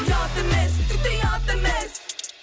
ұят емес тіпті ұят емес